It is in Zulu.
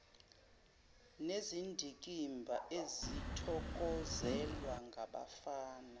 nezindikimba ezithokozelwa ngabafana